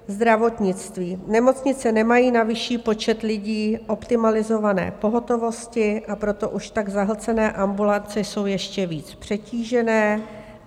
Zdravotnictví: Nemocnice nemají na vyšší počet lidí optimalizované pohotovosti, a proto už tak zahlcené ambulance jsou ještě víc přetížené.